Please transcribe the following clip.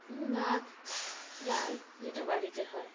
উ ভাত ডাল যেটা বাড়িতে হয়